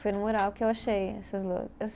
Foi no mural que eu achei essas loucas.